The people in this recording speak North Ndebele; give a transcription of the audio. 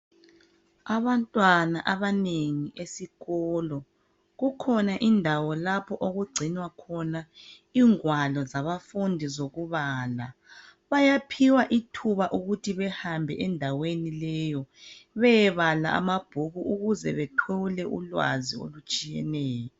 Abantwana abanengi esikolo kukhona indawo lapho okugcinwa khona igwalo zabafundi zokubala bayaphiwa ithuba ukuthi behambe endaweni leyi beyebala amabhuku ukuze bethole ulwazi olutshiyeneyo.